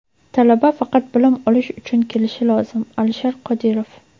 Talaba faqat bilim olish uchun kelishi lozim — Alisher Qodirov.